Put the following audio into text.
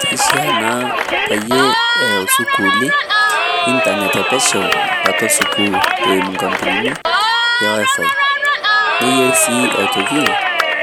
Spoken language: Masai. Kishaa naa peyie eeu sukuuli internet epesho atua sukuul eimu inkampunini e wifi nayieu sii